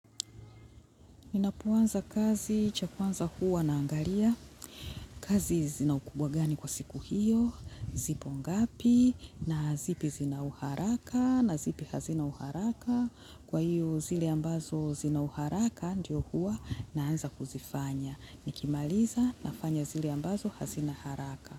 Ninapoanza kazi, cha kwanza huwa naangalia, kazi zina ukubwa gani kwa siku hiyo, zipo ngapi, na zipi zina uharaka, na zipi hazina uharaka, kwa hiyo zile ambazo zina uharaka ndio huwa naanza kuzifanya. Nikimaliza nafanya zile ambazo hazina haraka.